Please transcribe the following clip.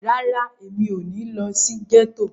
Rárá, mi ò ní lọ sí gẹ́tò.